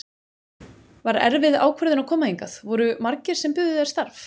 Var erfið ákvörðun að koma hingað, voru margir sem buðu þér starf?